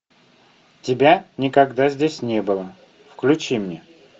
тебя никогда здесь не было включи мне